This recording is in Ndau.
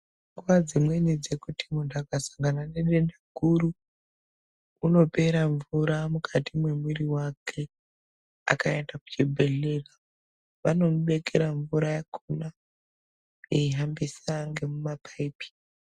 Nguwa dzimweni dzekuti muntu akasangana nedenda guru unopera mvura mukati memwiri wake .Akaenda kuchibhedhleya vanomubekera mvura yakona aihambisa ngemumapaipi.